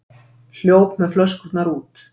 Hljóp með flöskurnar út